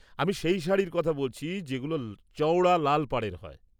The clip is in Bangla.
আমি সেই শাড়ির কথা বলছি যেগুলো চওড়া লাল পাড়ের হয়।